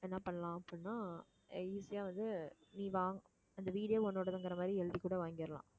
என்ன பண்ணலாம் அப்படின்னா easy ஆ வந்து நீ வாங்~ அந்த வீடே உன்னோடதுங்கிற மாதிரி எழுதிக்கூட வாங்கிடலாம்